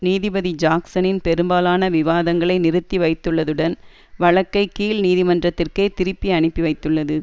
நீதிபதி ஜாக்சனின் பெரும்பாலான விவாதங்களை நிறுத்தி வைத்துள்ளதுடன் வழக்கை கீழ் நீதிமன்றத்திற்கே திருப்பி அனுப்பி வைத்துள்ளது